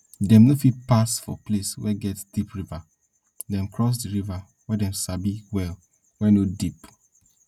dem no fit pass for place wey get deep river dem cross the river wey dem sabi well wey no deep